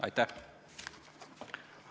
Aitäh!